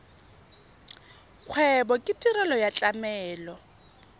kgwebo ke tirelo ya tlamelo